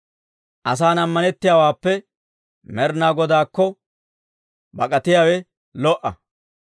Asan ammanettiyaawaappe, Med'inaa Godaakko bak'atiyaawe lo"a.